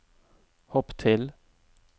hopp til